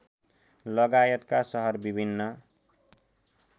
लगायतका सहर विभिन्न